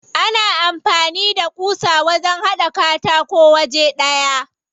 Ana amfani da ƙusa wajen haɗa katako waje ɗaya.